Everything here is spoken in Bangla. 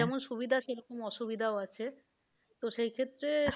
যেমন সুবিধা সেরকম অসুবিধাও আছে। তো সেই ক্ষেত্রে,